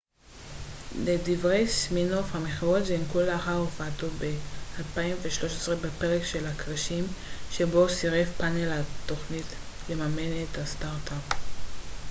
לדברי סימינוף המכירות זינקו לאחר הופעתו ב-2013 בפרק של הכרישים שבו סירב פנל התכנית לממן את הסטארט-אפ